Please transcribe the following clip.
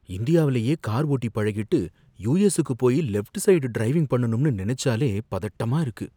இந்தியாவுலயே கார் ஓட்டி பழகிட்டு யூஎஸ்ஸுக்கு போயி லெஃப்ட் சைடு டிரைவிங் பண்ணனும்னு நினைச்சாலே பதட்டமா இருக்கு.